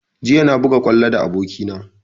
Jiya na buga kwallo da aboki na